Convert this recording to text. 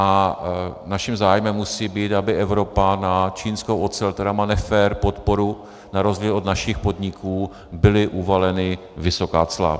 A naším zájmem musí být, aby Evropa na čínskou ocel, která má nefér podporu na rozdíl od našich podniků, byla uvalena vysoká cla.